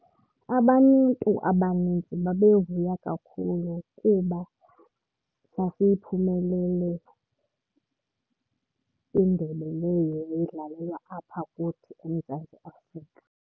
Abantu abanintsi babevuya kakhulu kuba sasiyiphumelele indebe leyo yayidlalelwa apha kuthi eMzantsi Afrika.